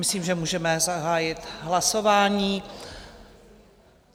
Myslím, že můžeme zahájit hlasování.